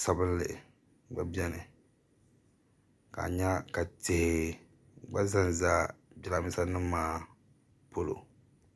sabinli gba beni ka a nya ka tihi gba za n-za jirambiisa nima maa polo